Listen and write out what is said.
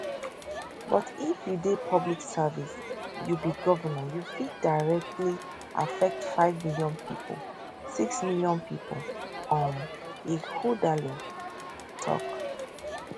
but if you dey public service you be govnor you fit directly affect five million pipo six million pipo um ighodalo tok